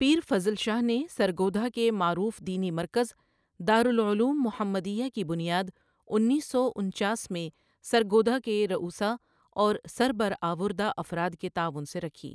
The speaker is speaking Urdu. پیر فضل شاہ نے سرگودھا کے معروف دینی مرکز دارلعلوم محمدیہ کی بنیاد انیس سو انچاس میں سرگودھا کے رؤسا اور سر برا ٓوردہ افراد کے تعاون سے رکھی۔